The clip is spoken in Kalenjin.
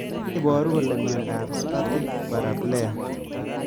Ne neiparu kole miandop Spastic paraplegia